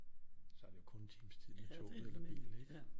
Så er det jo kun en times tid med toget eller med bil ikke